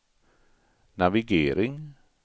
navigering